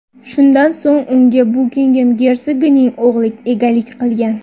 Shundan so‘ng unga Bukingem gersogining o‘g‘li egalik qilgan.